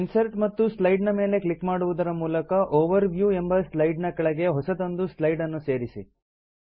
insert ಮತ್ತು slide ನ ಮೇಲೆ ಕ್ಲಿಕ್ ಮಾಡುವುದರ ಮೂಲಕ ಓವರ್ವ್ಯೂ ಎಂಬ ಸ್ಲೈಡ್ ನ ಕೆಳಗೆ ಹೊಸದೊಂದು ಸ್ಲೈಡ್ ಅನ್ನು ಸೇರಿಸಿ